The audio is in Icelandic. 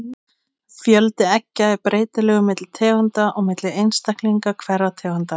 Fjöldi eggja er breytilegur milli tegunda og milli einstaklinga hverrar tegundar.